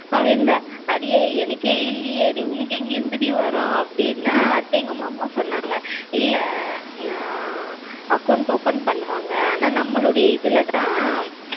அது இந்த அடியே எனக்கே இல்லையே உனக்கு எங்க இருந்துடி வரும். அப்டினா அத்தைங்க மாமா சொன்னங்க. இல்ல ஏ account open பண்ணுவாங்க ஆனா நமளுடையா இதுலதான்